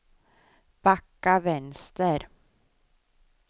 backa vänster